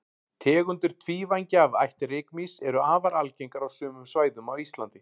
tegundir tvívængja af ætt rykmýs eru afar algengar á sumum svæðum á íslandi